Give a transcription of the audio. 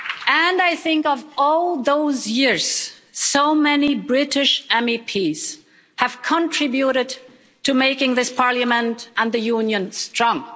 And I think of all those years so many British MEPs have contributed to making this Parliament and the Union strong.